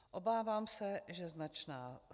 Obávám se že značná.